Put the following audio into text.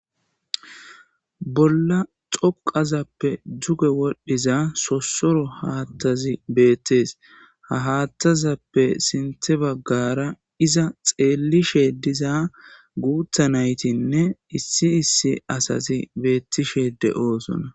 bolla xoqazappe duge wodhdhiza sossoro haathazi betes, ha hathazappe sinthe baggara iza xeellishe diza guutha naytinne issi issi asazi beettishe de'osona.